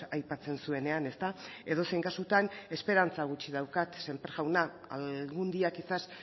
aipatzen zuenean edozein kasutan esperantza gutxi daukat sémper jauna algún día quizás